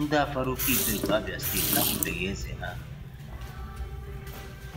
Ndị afara ukwu ibeku, abia steeti ahụbeghị Eze ha.